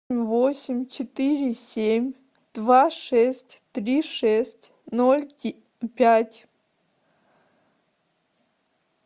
восемь четыре семь два шесть три шесть ноль пять